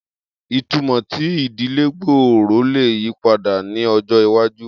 Itumọ ti idile gbooro le yipada ni ọjọ iwaju